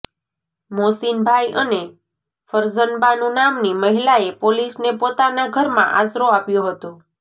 મોસીનભાઈ અને ફરઝનબાનુ નામની મહિલાએ પોલીસને પોતાના ઘરમાં આશરો આપ્યો હતો